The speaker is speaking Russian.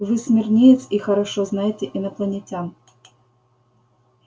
вы смирниец и хорошо знаете инопланетян